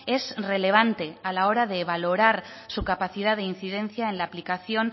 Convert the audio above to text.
es relevante a la hora de valorar su capacidad de incidencia en la aplicación